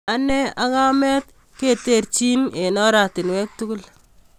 Ane ak kamet keterchin eng oratinwek tugul